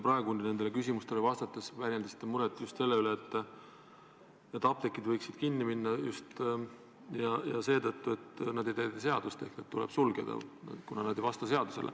Te väljendasite ka praegu küsimustele vastates muret selle üle, et apteegid võivad kinni minna ehk need tuleb sulgeda, kuna nad ei täida seadust.